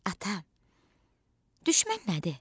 Ata, düşmən nədir?